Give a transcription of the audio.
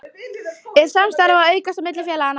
Er samstarfið að aukast á milli félaganna?